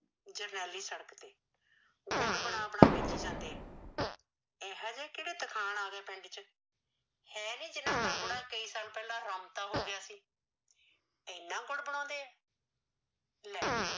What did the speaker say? ਜਰਨੈਲੀ ਸੜਕ ਤੇ ਗੁੜ ਬਣਾ ਬਣਾ ਵੇਚੀ ਜਾਂਦੇ ਏ ਇਹੋ ਜਿਹੇ ਕਿਹੜੇ ਤਰਖਾਣ ਆ ਗਏ ਪਿੰਡ ਚ ਹੈ ਨੀ ਜਿਹਨਾ ਦਾ ਬੁੜਾ ਕੇਈ ਸਾਲ ਪਹਿਲਾ ਰਮਤਾ ਹੋ ਗਿਆ ਸੀ ਇਨਾ ਗੁੜ ਬਣਾਉਦੇ ਲੈ